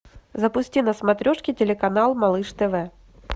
запусти на смотрешке телеканал малыш тв